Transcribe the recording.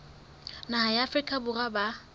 naha ya afrika borwa ba